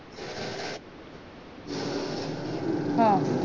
हा